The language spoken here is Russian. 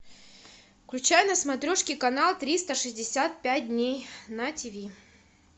включай на смотрешке канал триста шестьдесят пять дней на тиви